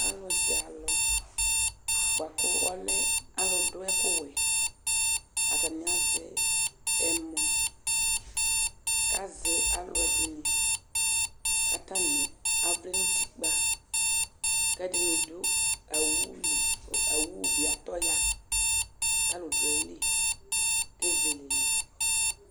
Alʊzɛ alʊ bʊakʊ ɔlɛ alʊ dʊ ɛkʊ wɛ Atanɩ azɛ ɛmɔ kazɛ alʊ ɛdɩnɩ katanɩ avlɛ nʊtɩkpa kɛdɩnɩ dʊ owʊ lɩ Owʊ bɩ atɔ ya kalʊ dʊ ayɩlɩ kezele lɛ